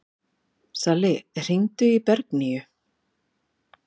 Salli, hringdu í Bergnýju.